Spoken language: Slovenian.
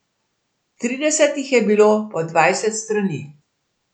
Trideset jih je bilo po dvajset strani.